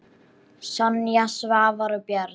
Sonja, Svavar og börn.